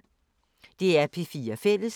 DR P4 Fælles